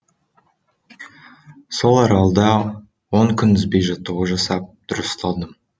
сол аралда он күн үзбей жаттығу жасап дұрысталдым